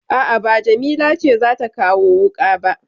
A'a ba Jamila ce za ta kawo wuƙa ba.